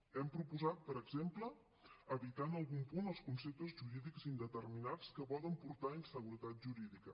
hem proposat per exemple evitar en algun punt els conceptes jurídics indeterminats que poden portar a inseguretat jurídica